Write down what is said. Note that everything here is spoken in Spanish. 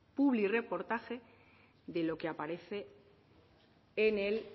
publirreportaje de lo que aparece en el